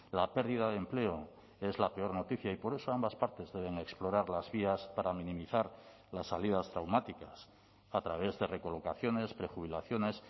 la pérdida de empleo es la peor noticia y por eso ambas partes deben explorar las vías para minimizar las salidas traumáticas a través de recolocaciones prejubilaciones